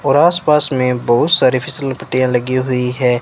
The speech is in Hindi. और आसपास में बहुत सारी फिसल पट्टियाँ लगी हुई हैं।